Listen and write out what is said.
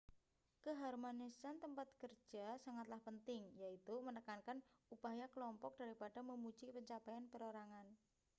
keharmonisan tempat kerja sangatlah penting yaitu menekankan upaya kelompok daripada memuji pencapaian perorangan